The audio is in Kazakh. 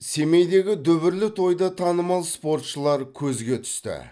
семейдегі дүбірлі тойда танымал спортшылар көзге түсті